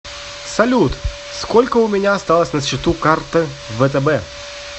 салют сколько у меня осталось на счету карты втб